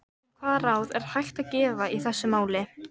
En hvaða ráð er hægt að gefa í þessu máli?